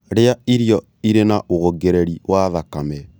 Rĩa irio irĩ na wongereri wa thakame